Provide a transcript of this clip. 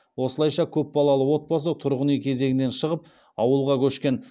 осылайша көпбалалы отбасы тұрғын үй кезегінен шығып ауылға көшкен